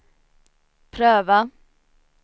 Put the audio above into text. pröva